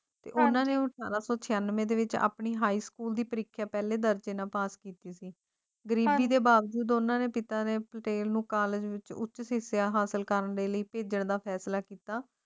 ਤੇ ਉਨ੍ਹਾਂ ਨੇ ਉਹ ਸਾਰਾ ਕੁਝ ਹੀ ਸਮੇਂ ਵਿੱਚ ਆਪਣੀ ਹਾਈ ਸਕੂਲ ਦੀ ਪ੍ਰੀਖਿਆ ਪਾਸ ਕੀਤੀ ਸੀ ਦੁਨੀਆਂ ਦੇ ਬਾਵਜੂਦ ਉਹਨਾਂ ਦੇ ਪਿਤਾ ਨੇ ਪਟੇਲ ਨੂੰ ਕਾਲਜ ਵਿੱਚ ਉੱਚ ਸਿੱਖਿਆ ਹਾਸਲ ਕਰਨ ਲਈ ਭੇਜਿਆ ਦਾ ਫ਼ੈਸਲਾ ਕੀਤਾ